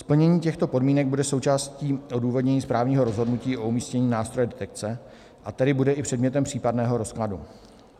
Splnění těchto podmínek bude součástí odůvodnění správního rozhodnutí o umístění nástroje detekce, a tedy bude i předmětem případného rozkladu.